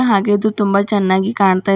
ಹಾಗೆ ಇದು ತುಂಬ ಚೆನ್ನಾಗಿ ಕಾಣ್ತಾ--